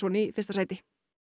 í fyrsta sæti